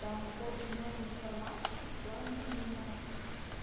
там очень много информации в плане именно